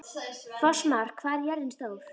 Fossmar, hvað er jörðin stór?